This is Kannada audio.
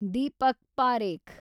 ದೀಪಕ್ ಪಾರೇಖ್